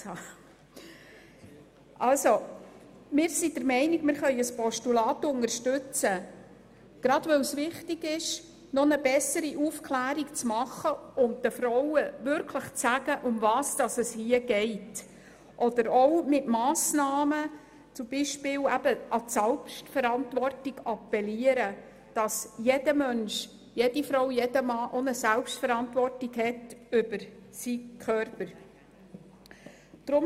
Wir sind der Meinung, dass wir ein Postulat unterstützen können, gerade weil es wichtig ist, noch besser aufzuklären und den Frauen wirklich zu sagen, worum es hier geht; oder auch mit Massnahmen beispielsweise an die Selbstverantwortung zu appellieren, die jeder Mensch gegenüber seinem Körper hat.